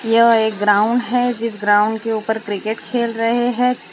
यह एक ग्राउंड है जिस ग्राउंड के ऊपर क्रिकेट खेल रहे हैं।